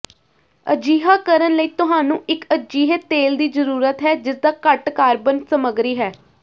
ਅਜਿਹਾ ਕਰਨ ਲਈ ਤੁਹਾਨੂੰ ਇੱਕ ਅਜਿਹੇ ਤੇਲ ਦੀ ਜ਼ਰੂਰਤ ਹੈ ਜਿਸਦਾ ਘੱਟ ਕਾਰਬਨ ਸਮੱਗਰੀ ਹੈ